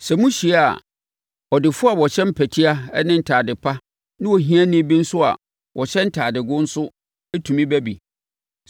Sɛ mohyia a, ɔdefoɔ a ɔhyɛ mpɛtea ne ntade pa ne ohiani bi nso a ɔhyɛ ntadego nso tumi ba bi.